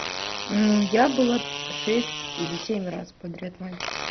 ну я была шесть или семь раз подряд